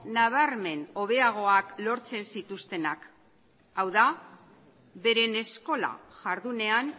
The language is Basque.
nabarmen hobeagoak lortzen zituztenak hau da beren eskola jardunean